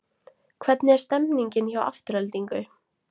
Hvernig er stemningin hjá Aftureldingu?